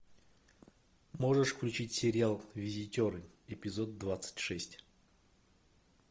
можешь включить сериал визитеры эпизод двадцать шесть